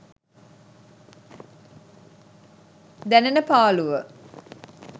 දැනෙන පාලුව.